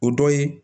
O dɔ ye